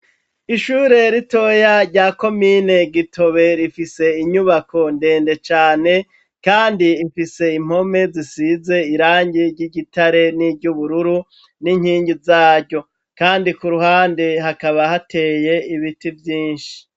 Ishure ritoya rya komine Gitobe rifise inyubako ndende cane kandi imfise impome zisize irangi ry'igitare n'iry'ubururu, n'inkingi zaryo, kandi ku ruhande hakaba hateye ibiti vyinshi.